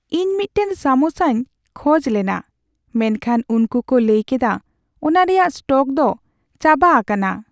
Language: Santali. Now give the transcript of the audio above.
ᱤᱧ ᱢᱤᱫᱴᱟᱝ ᱥᱟᱢᱳᱥᱟ ᱤᱧ ᱠᱷᱚᱡ ᱞᱮᱱᱟ ᱢᱮᱱᱠᱷᱟᱱ ᱩᱱᱠᱩ ᱠᱚ ᱞᱟᱹᱭ ᱠᱮᱫᱟ ᱚᱱᱟ ᱨᱮᱭᱟᱜ ᱥᱴᱚᱠ ᱫᱚ ᱪᱟᱵᱟ ᱟᱠᱟᱱᱟ ᱾